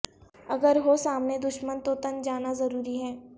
اگر ہو سامنے دشمن تو تن جانا ضروری ہے